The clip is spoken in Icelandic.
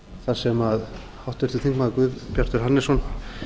þar sem háttvirtur þingmaður guðbjartur hannesson